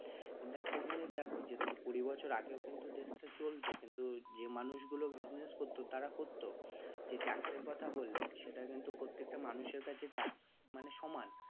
কিন্তু একটা জিনিস দেখো কুড়ি বছর আগে ও কিন্তু দেশ টা চলত কিন্তু যে মানুষ গুলো business করত তারা করত যে ট্যাক্স এর কথা বললে সেটা কিন্তু প্রত্যেকটা মানুষের কাছে ট্যাক্স মানে সমান